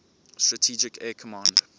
strategic air command